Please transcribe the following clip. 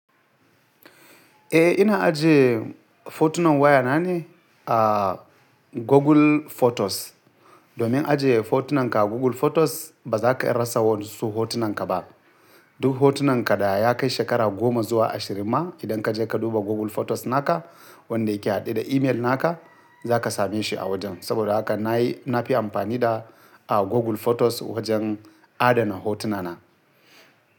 Eh ina ajiye hotunan waya na ne a Google Photos. Domin ajiye hotunan ka a Google Photos ba za ka iya rasa wasu hotunan ka ba. Duk hotunan ka da ya kai shekara goma zuwa ashirin ma idan ka je ka duba Google Photos naka wanda yake haɗe da email naka za ka same shi a wajen. Saboda haka na yi na fi amfani da a Google Photos wajen adana hotuna na.